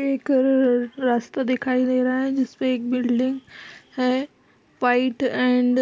एक अं ररर रास्ता दिखाई दे रहा है जिसपे एक बिल्डिंग है व्हाइट एंड